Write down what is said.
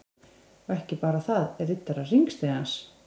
Og ekki bara þaðRiddarar_hringstigans